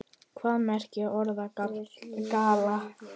Hvað merkir orðið gala?